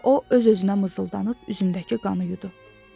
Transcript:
O öz-özünə mızıldanıb üzümdəki qanı yudu.